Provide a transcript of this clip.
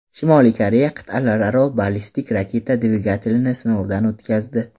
Shimoliy Koreya qit’alararo ballistik raketa dvigatelini sinovdan o‘tkazdi.